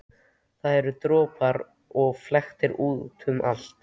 Það eru doppur og flekkir út um allt.